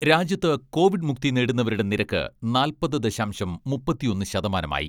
രാജ്യത്ത് കോവിഡ് മുക്തി നേടുന്നവരുടെ നിരക്ക് നാൽപ്പത് ദശാംശം മുപ്പത്തൊന്ന് ശതമാനമായി.